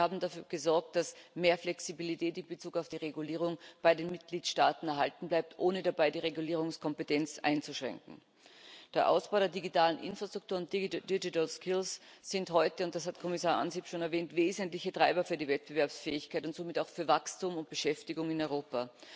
Sie haben dafür gesorgt, dass mehr Flexibilität in Bezug auf die Regulierung bei den Mitgliedstaaten erhalten bleibt, ohne dabei die Regulierungskompetenz einzuschränken. Der Ausbau der digitalen Infrastruktur und digital skills sind heute und das hat Kommissar Ansip schon erwähnt wesentliche Treiber für die Wettbewerbsfähigkeit und somit auch für Wachstum und Beschäftigung in Europa.